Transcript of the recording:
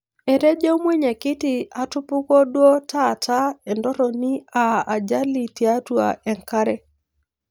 Etejo mwenyekiti atupukuo duo taataa entorroni aa ajali tiatua enkare